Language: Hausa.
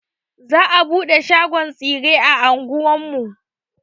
Za a buɗe shagon tsire a anguwar mu.